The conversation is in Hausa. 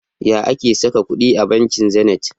Ya ake saka kudi a banki Zenith?